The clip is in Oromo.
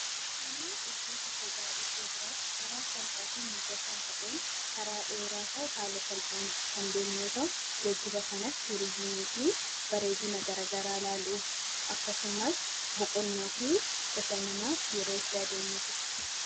Geejjibni iddoo tokkorraa gara biraatti iddoo salphaa ta'ee fi mijataa ta'een karaa dheeraa ta'e haala salphaan deemuu yoo ta'u, geejjiba kanas turizimii fi bareedina garaagaraa ilaaluuf akkasumas boqonnaa fi bashannanaaf yeroo itti adeemnudha